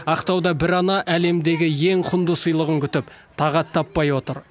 ақтауда бір ана әлемдегі ең құнды сыйлығын күтіп тағат таппай отыр